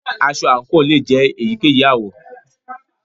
Aṣọ àǹkò lè jẹ èyíkéyìí àwọ̀.